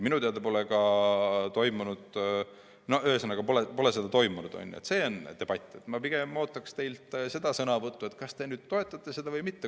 Ma pigem ootaks teilt sõnavõttu selle kohta, kas te nüüd toetate seda eelnõu või mitte.